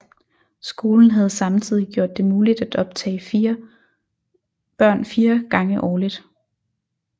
Skolen havde samtidig gjort det muligt at optage børn 4 gange årligt